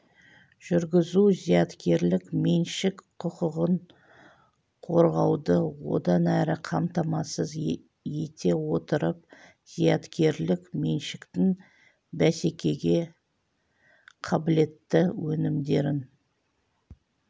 жүргізу зияткерлік меншік құқығын қорғауды одан әрі қамтамасыз ете отырып зияткерлік меншіктің бәсекеге қабілетті өнімдерін